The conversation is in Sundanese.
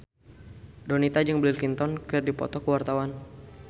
Donita jeung Bill Clinton keur dipoto ku wartawan